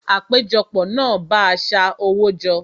Àpéjọpọ̀ náà bá a sa owó jọ